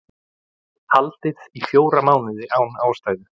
Haldið í fjóra mánuði án ástæðu